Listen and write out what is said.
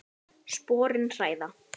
Sporin hræða.